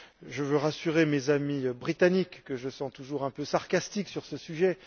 Je veux rassurer mes amis britanniques, que je sens toujours un peu sarcastiques sur ce sujet.